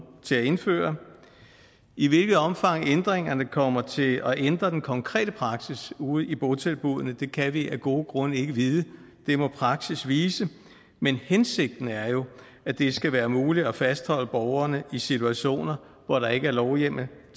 til at indføre i hvilket omfang ændringerne kommer til at ændre den konkrete praksis ude i botilbudene kan vi af gode grunde ikke vide det må praksis vise men hensigten er jo at det skal være muligt at fastholde borgerne i situationer hvor der ikke lovhjemmel